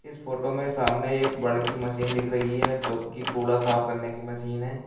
इस फोटो में सामने एक बड़ी सी मशीन दिख रही है जो की कूड़ा साफ करने की मशीन है।